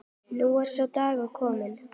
Nú er sá dagur kominn.